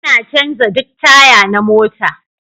Ina canza duk taya na mota